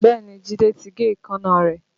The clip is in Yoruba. Bẹ́ẹ̀ni Jide ti gé èékánná rẹ̀